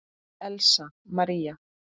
Elsa María.